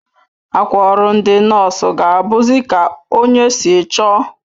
Akwa ọrụ ndi nọọsụ ga abuzi Ka onye si chọọ